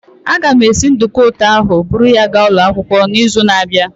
Aga m esi nduku ụtọ ahụ buru ya gaa ụlọ akwụkwọ n'izu na-abịa.